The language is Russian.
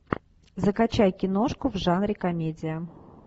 закачай киношку в жанре комедия